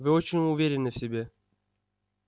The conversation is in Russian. вы очень уверены в себе